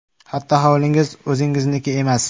Hatto hovlingiz o‘zingizniki emas.